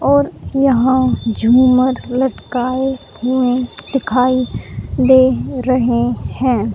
और यहां झूमर लटकाए हुए दिखाई दे रहे हैं।